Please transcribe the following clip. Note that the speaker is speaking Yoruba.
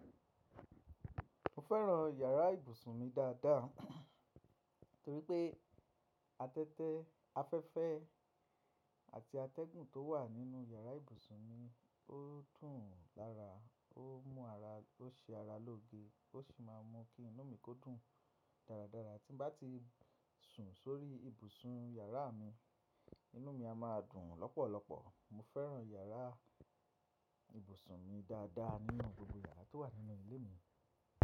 Mo fẹ́ràn yàrá ìbùsùn mi dáadáa torí pé afẹ́fẹ́, afẹ́fẹ́ àti atẹ́gùn tó wà nínú yàrá ìbùsùn mi ó tùn lára, ó mú ara, ó ṣe ara lóge, ó sì máa ń mú kí inú mi kó dùn dáradára tí n bá ti sùn sórí ibùsùn yàrá mi, inú mi a máa dùn lọ́pọ̀lọ́pọ̀. Mo fẹ́ràn yàrá ìbùsùn mi dáadáa nínú gbogbo yàrá tó wà nínú ilé mi.